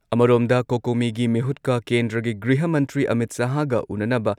ꯑꯃꯔꯣꯝꯗ, ꯀꯣꯀꯣꯃꯤꯒꯤ ꯃꯤꯍꯨꯠꯀ ꯀꯦꯟꯗ꯭ꯔꯒꯤ ꯒ꯭ꯔꯤꯍ ꯃꯟꯇ꯭ꯔꯤ ꯑꯃꯤꯠ ꯁꯍꯥꯍꯒ ꯎꯟꯅꯅꯕ